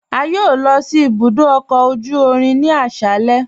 A yọ̀ọ̀ lọ sí ibùdó ọkọ ojú irin ni aṣálẹ̀